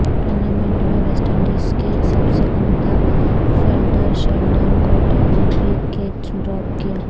tournament میں West انڈیزکے سب سےعمدہ فیلڈر شیلڈن کوٹرل نےبھی کیچ ڈراپ کیا